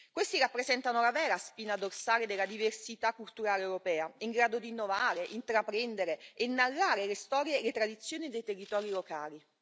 Essi rappresentano la vera spina dorsale della diversità culturale europea, in grado di innovare, intraprendere e narrare le storie e le tradizioni dei territori locali.